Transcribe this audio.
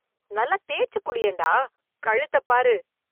நல்லாத் தேச்சுக் குளியேண்டா - கழுத்தப் பாரு